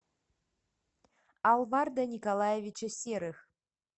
алварда николаевича серых